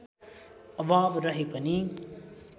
अभाव रहे पनि